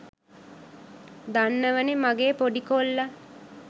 දනන්වනේ මගේ පොඩි කොල්ලා